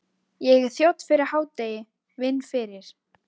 Ég er þjónn fyrir hádegi, vinn fyrir